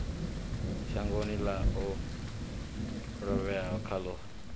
shangoni ḽe a lovhela khaḽo